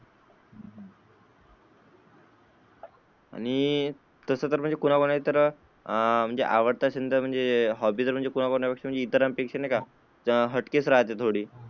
आणि तस तर कुना कुणाला म्हणजे तर, आवडत असेल तर म्हणजे हॉबी म्हणजे इतरांपेक्षा हटके राहते थोडी.